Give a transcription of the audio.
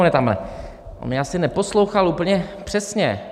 On mě asi neposlouchal úplně přesně.